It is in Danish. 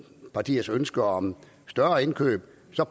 partiers ønske om et større indkøb